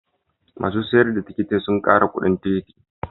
Masun sayar da tikitin sun kara kudin tikitin.